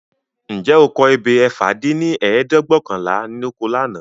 . Ǹjẹ́ o kọ ebè ẹ̀fà dín ní ẹ̀ẹ́dẹ́gbẹ́ọ̀kànlá lóko lànà?